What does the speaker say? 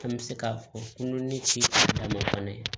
An bɛ se k'a fɔ n ni ci daminɛ fana